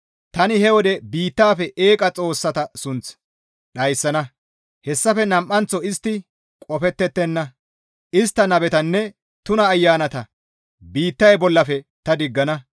«Tani he wode biittafe eeqa xoossata sunth dhayssana; hessafe nam7anththo istti qofettettenna; istta nabetanne tuna ayanata biittay bollafe ta diggana.